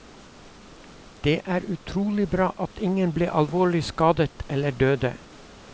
Det er utrolig bra at ingen ble alvorlig skadet eller døde.